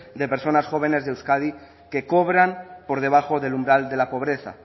de personas jóvenes de euskadi que cobran por debajo del umbral de la pobreza